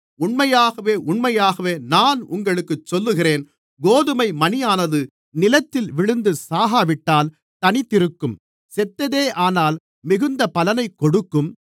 உண்மையாகவே உண்மையாகவே நான் உங்களுக்குச் சொல்லுகிறேன் கோதுமை மணியானது நிலத்தில் விழுந்து சாகாவிட்டால் தனித்திருக்கும் செத்ததேயானால் மிகுந்த பலனைக் கொடுக்கும்